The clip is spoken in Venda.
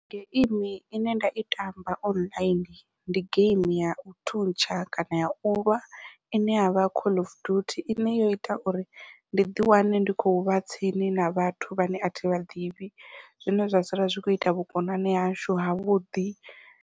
Geimi ine nda i tamba online ndi geimi yau thuntsha kana yau lwa ine yavha call of duty ine yo ita uri ndi ḓi wane ndi khou vha tsini na vhathu vhane athi vha ḓivhi zwine zwa sala zwi kho ita vhukonani hashu havhuḓi.